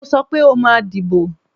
Mo sọ pé o máa dìbò